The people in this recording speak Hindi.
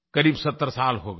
क़रीब 70 साल हो गए